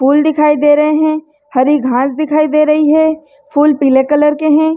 फूल दिखाई दे रहे हैं हरी घास दिखाई दे रही है फूल पीले कलर के हैं।